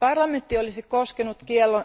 Parlamentti olisi